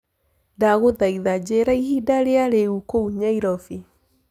ndagũthaĩtha njĩĩraĩhĩnda rĩa riu kũũ nyairobi